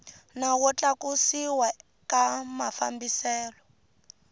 nawu wo tlakusiwa ka mafambiselo